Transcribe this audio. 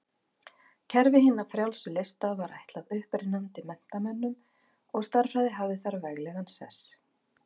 Kerfi hinna frjálsu lista var ætlað upprennandi menntamönnum og stærðfræði hafði þar veglegan sess.